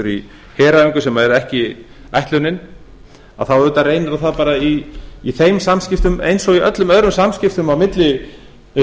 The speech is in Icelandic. í heræfingum sem er ekki ætlunin þá auðvitað reynir á það bara í þeim samskipti eins og í öllum öðrum samskiptum á milli